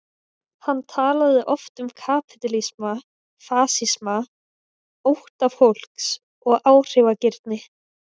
Hann talaði um kapítalisma, fasisma, ótta fólks og áhrifagirni.